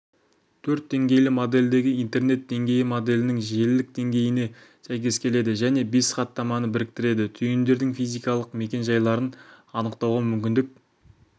төрт деңгейлі модельдегі интернет деңгейі моделінің желілік деңгейіне сәйкес келеді және бес хаттаманы біріктіреді түйіндердің физикалық мекен жайларын анықтауға мүмкіндік